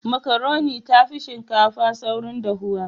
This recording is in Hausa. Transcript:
Makaroni ta fi shinkafa saurin dahuwa.